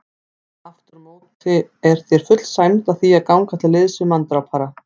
Afturámóti er þér full sæmd að því að ganga til liðs við manndrápara.